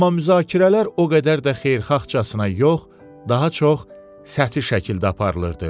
Amma müzakirələr o qədər də xeyirxahcasına yox, daha çox səthi şəkildə aparılırdı.